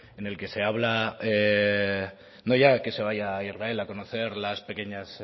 en el que se habla no ya de que se vaya a israel a conocer las pequeñas